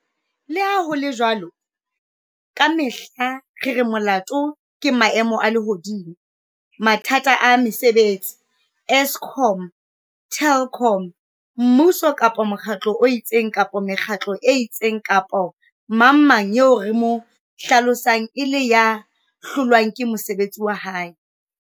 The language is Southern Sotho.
Le ha ho le jwalo, ka mehla re re molato ke maemo a lehodimo, mathata a mesebetsi, Eskom, Telkom, mmuso kapa mokgatlo o itseng kapa mekgatlo e itseng kapa mangmang eo re mo hlalosang e le ya hlolwang ke mosebetsi wa hae.